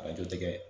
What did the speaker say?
Arajo tɛ dɛ